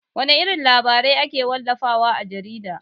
Wana irin labarai ake wallafa wa a jarida?